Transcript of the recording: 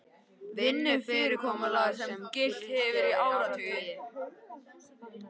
Vinnufyrirkomulag sem gilt hefur í áratugi